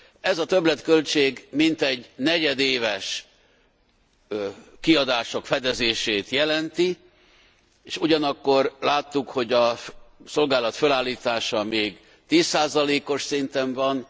Ez a többletköltség mintegy negyedéves kiadások fedezését jelenti, és ugyanakkor láttuk, hogy a szolgálat fölállítása még 10 os szinten van.